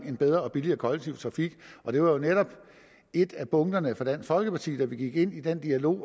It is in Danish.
en bedre og billigere kollektiv trafik det var jo netop et af punkterne for dansk folkeparti da vi gik ind i den dialog